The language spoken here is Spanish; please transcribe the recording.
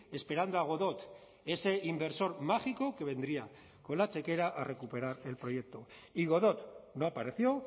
esperando a godot ese inversor mágico que vendría con la chequera a recuperar el proyecto y godot no apareció